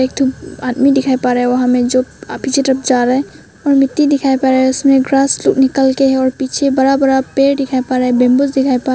आदमी दिखाई पड़ रहा है वहां में जो पीछे तरफ जा रहा है और मिट्टी दिखाई पड़ा है उसमें ग्रास निकलके है और पीछे बड़ा बड़ा पेड़ दिखाई पड़ रहा है बंबूज दिखाई प--